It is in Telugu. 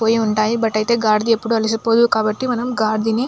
పోయి ఉంటాయి. బట్ అయితే గాడిదిని ఎప్పుడు అలసిపోవు కాబట్టి మనం గాడిదని --